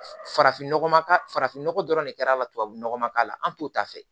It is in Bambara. Farafin nɔgɔ farafinnɔgɔ dɔrɔn de kɛr'a la tubabunɔgɔ k'a la an t'o ta fɛ